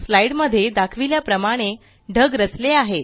slide मध्ये दाखविल्या प्रमाणे ढग रचले आहेत